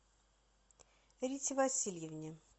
рите васильевне